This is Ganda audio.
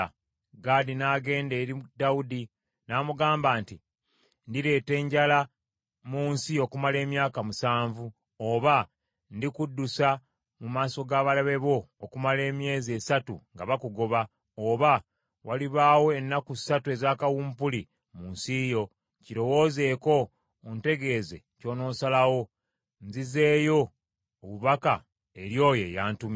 Gaadi n’agenda eri Dawudi n’amugamba nti, “Ndireeta enjala mu nsi okumala emyaka musanvu? Oba, ndikuddusa mu maaso g’abalabe bo okumala emyezi esatu, nga bakugoba? Oba, walibaawo ennaku ssatu eza kawumpuli mu nsi yo? Kirowoozeeko, ontegeeze ky’onoosalawo, nzizeeyo obubaka eri oyo antumye.”